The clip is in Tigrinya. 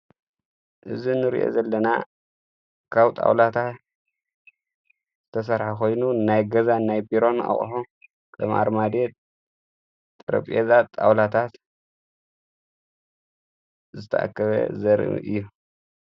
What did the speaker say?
እዝ ንርእአ ዘለና ካው ጣውላታት ዝተሠርሐ ኾይኑ ናይ ገዛ ናይ ቢሮን ኣቕሆ ቀም ኣርማድዬ ጥርጵዛን ጣውላታት ዝተኣከበ ዘርኢ እዩ።